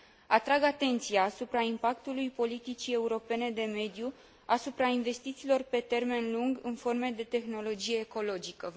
Atrag atenția asupra impactului politicii europene de mediu asupra investițiilor pe termen lung în forme de tehnologie ecologică.